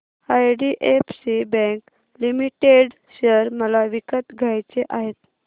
IDFC Bank Limited share मला विकत घ्यायचे आहेत